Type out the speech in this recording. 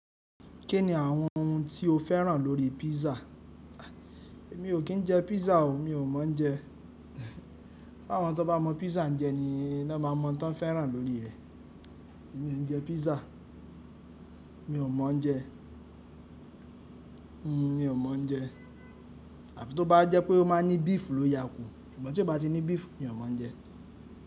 Kí ni àwọn ohun tí o fẹ́ràn lórí pízza? Mi ò kí n jẹ pizza o mi ò mọ jẹ. Àwọn tó bá mọ písà jẹ ni wọ́n máa mọ ohun tó n fẹ́ràn lórí rẹ̀. Èmi ò n jẹ pízza. Mi ò mọ jẹ. Mi ò mọ jẹ. Àfi tó bá jẹ́ pé ó máa ní beef ló yà kù. Ṣùgbọ́n tí ó bá ti ní beef, mi ò mọ jẹ.